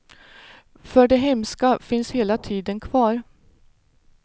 För det hemska finns hela tiden kvar.